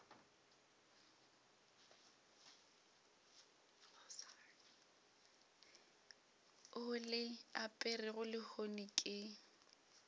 o le aperego lehono ke